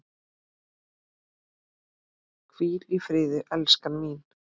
Hvíl í friði, elskan mín.